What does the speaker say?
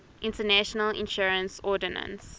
international insurance ordinance